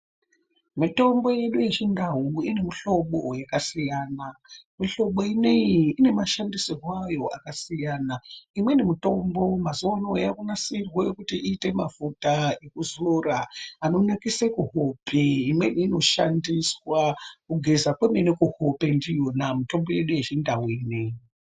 Mitombo yedu yechiNdau inemihlobo yakasiyana, mihlobo inoiyi inemashandisirwe ayo akasiyana. Imweni mitombo mazuvano yaakunasirwa kuti iite mafuta ekuzora anonakise kuhope. Imweni inoshandiswa kugeza kwemene kuhope ndiyona mitombo yedu yechiNdau ineiyi.